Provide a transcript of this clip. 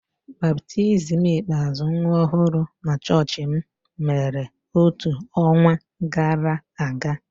Baptizim ikpeazụ nwa ọhụrụ na chọọchị m mere otu ọnwa gara aga.